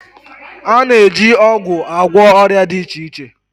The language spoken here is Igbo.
A na-eji ọgwụ agwọ ọrịa dị iche iche